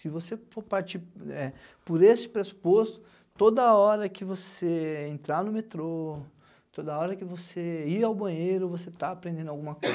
Se você for partir é por esse pressuposto, toda hora que você entrar no metrô, toda hora que você ir ao banheiro, você está aprendendo alguma coisa.